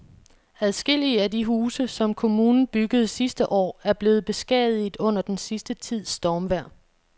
Adskillige af de huse, som kommunen byggede sidste år, er blevet beskadiget under den sidste tids stormvejr.